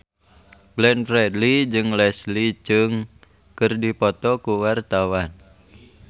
Glenn Fredly jeung Leslie Cheung keur dipoto ku wartawan